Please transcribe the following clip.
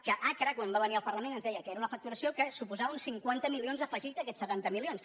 que acra quan va venir al parlament ens deia que era una facturació que suposava uns cinquanta milions afegits a aquests setanta milions